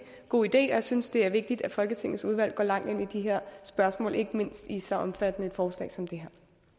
god idé jeg synes det er vigtigt at folketingets udvalg går langt ind i de her spørgsmål ikke mindst i et så omfattende forslag som det